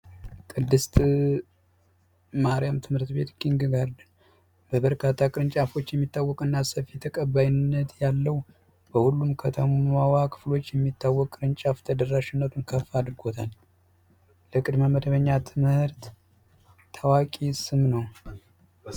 ቅድስት ማርያም ትምህርት ቤት ኪንግ ጋርተን በበርካታ ቅርንጫፎች የሚታወቀውና በብዙ ዘንድ ሰፊ ተቀባይነት ያለው በሁሉም ከተማዎች የሚታወቅ ቅርንጫፍ በተደራሽነት አድርጎ ታላቅ መመደበኛ ትምህርት ታዋቂ ነው።